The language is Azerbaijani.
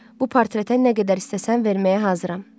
Bu portretə nə qədər istəsən verməyə hazıram.